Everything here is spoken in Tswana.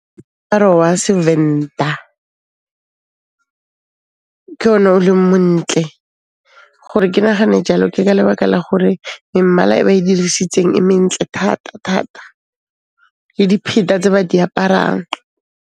wa Sevenda ke ona o leng montle. Gore ke nahane jalo ke ka lebaka la gore memmala e ba e dirisitseng e mentle thata-thata le dipheta tse ba di aparang.